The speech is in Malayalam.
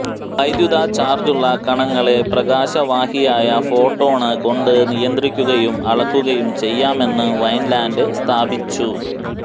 വൈദ്യുത ചാര്ജുള്ള കണങ്ങളെ പ്രകാശവാഹിയായ ഫോട്ടോ ണ് കൊണ്ട് നിയന്ത്രിക്കുകയും അളക്കുകയും ചെയ്യാമെന്നു വൈന്ലാന്ഡ് സ്ഥാപിച്ചു